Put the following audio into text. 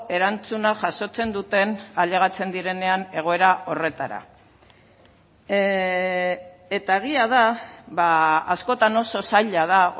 erantzuna jasotzen duten ailegatzen direnean egoera horretara eta egia da askotan oso zaila da